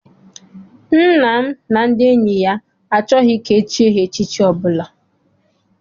Nna m na enyi ya achọghị ka echie ha echichi ọbụla.